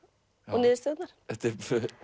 og niðurstöðurnar þetta er